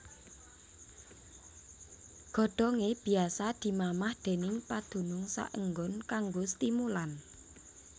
Godhongé biasa dimamah déning padunung saenggon kanggo stimulan